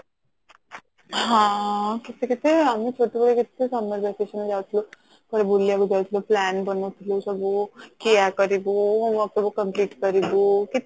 ହଁ କେତେ କେତେ ଆମେ ଛୋଟ ବେଳେ କେତେ summer vacation ରେ ଯାଉଥିଲୁ କୁଆଡେ ବୁଲିବାକୁ ଯାଉଥିଲୁ plan ବନଉଥିଲୁ କି ଏୟା କରିବୁ homework ସବୁ complete କରିବୁ